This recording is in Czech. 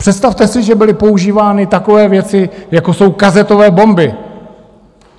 Představte si, že byly používány takové věci, jako jsou kazetové bomby.